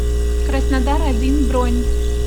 краснодар один бронь